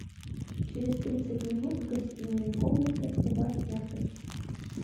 через тридцать минут в гостиной комнате убавь яркость